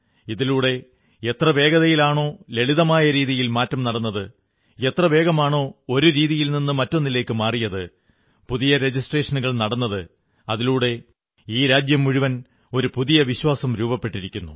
ഇതിലൂടെ എത്ര വേഗതയിലാണോ ലളിതമായ രീതിയിൽ മാറ്റം നടന്നത് എത്ര വേഗമാണോ ഒരു രീതിയിൽ നിന്നു മറ്റൊന്നിലേക്ക് മാറിയത് പുതിയ രജിസ്ട്രേഷനുകൾ നടന്നത് അതിലൂടെ ഈ രാജ്യം മുഴുവൻ ഒരു പുതിയ വിശ്വാസം രൂപപ്പെട്ടിരിക്കുന്നു